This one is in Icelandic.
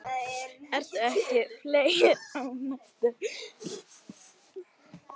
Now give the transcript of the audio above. Eru ekki fleiri ánægðir?